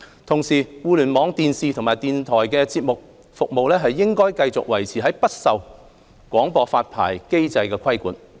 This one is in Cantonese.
同時，互聯網電視及電台節目服務應繼續維持不受廣播發牌機制規管。